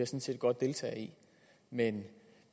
set godt deltage i men